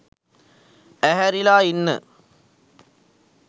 ඇහැරිලා ඉන්න